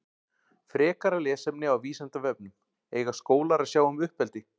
Frekara lesefni á Vísindavefnum Eiga skólar að sjá um uppeldi?